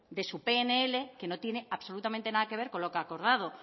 de su pnl que no tiene absolutamente nada que ver con lo que ha acordado